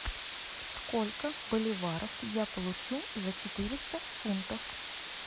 сколько боливаров я получу за четыреста фунтов